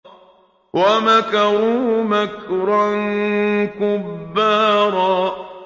وَمَكَرُوا مَكْرًا كُبَّارًا